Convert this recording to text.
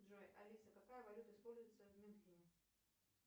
джой алиса какая валюта используется в мюнхене